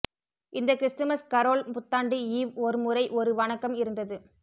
இந்த Christmas carol புத்தாண்டு eve ஒரு முறை ஒரு வணக்கம் இருந்தது